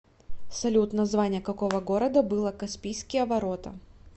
салют название какого города было каспийские ворота